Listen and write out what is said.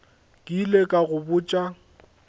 ke ile ka go botša